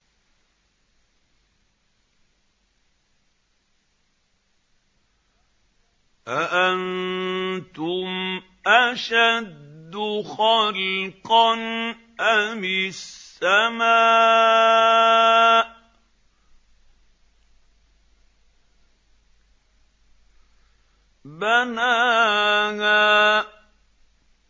أَأَنتُمْ أَشَدُّ خَلْقًا أَمِ السَّمَاءُ ۚ بَنَاهَا